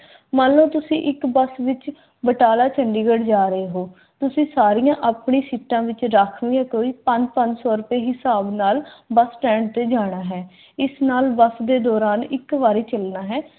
ਮੰਨ ਲਓ ਤੁਸੀਂ ਇੱਕ ਬੱਸ ਵਿਚ ਬਟਾਲਾ ਚੰਡੀਗੜ੍ਹ ਜਾ ਰਹੇ ਓ। ਤੁਸੀਂ ਸਾਰੀਆਂ ਆਪਣੀਆਂ ਸੀਟਾਂ ਵਿਚ ਰਾਖਵੀਆਂ ਕੋਈ ਪੰਜ ਪੰਜ ਸੋ ਰੁਪਏ ਹਿਸਾਬ ਨਾਲ ਬੱਸ ਸਟੈਂਡ ਤੇ ਜਾਣਾ ਹੈ। ਇਸ ਨਾਲ ਬੱਸ ਦੇ ਦੌਰਾਨ ਇੱਕ ਵਾਰੀ ਚਲਣਾ ਹੈ।